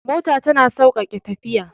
Mota tana sauƙaƙe tafiya